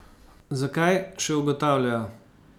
Zakaj, še ugotavljajo.